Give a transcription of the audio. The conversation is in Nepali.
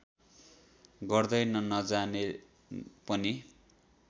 गर्दैन नजाने पनि